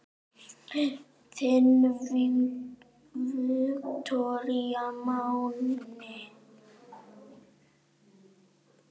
Þinn Viktor Máni.